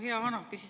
Hea minister!